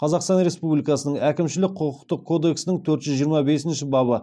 қазақстан республикасының әкімшілік құқықтық кодексінің төрт жүз жиырма бесінші бабы